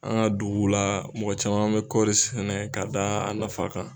An ka duguw la mɔgɔ caman bɛ kɔɔri sɛnɛna ye ka da a nafa kan